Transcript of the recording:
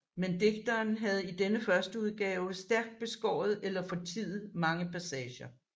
Men digteren havde i denne førsteudgave stærkt beskåret eller fortiet mange passager